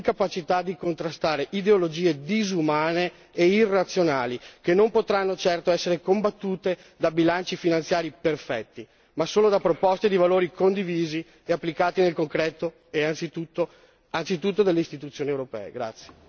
In questo vuoto si è insinuata l'incapacità di contrastare ideologie disumane e irrazionali che non potranno certo essere combattute da bilanci finanziari perfetti, ma solo da proposte di valori condivisi e applicati nel concreto, anzitutto dalle Istituzioni europee.